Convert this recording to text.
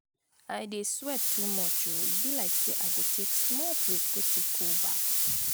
i dey sweat too much oo e be like say i go take small break go take cold bath.